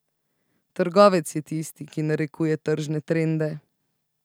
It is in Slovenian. Trgovec je tisti, ki narekuje tržne trende.